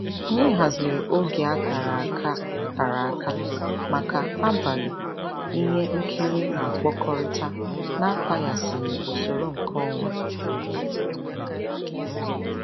Anyị haziri oge a kara aka kara aka maka abalị ihe nkiri na-akpakọrịta na-akpaghasịghị usoro nkeonwe.